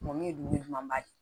Mɔni ye dumuni ɲuman ba ye